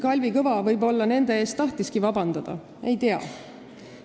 Kalvi Kõva võib-olla nendelt tahtiski vabandust paluda, ma ei tea.